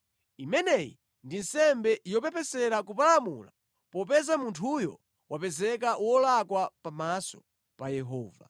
Imeneyi ndi nsembe yopepesera kupalamula popeza munthuyo wapezeka wolakwa pamaso pa Yehova.”